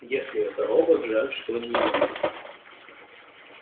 если это робот жаль что не ю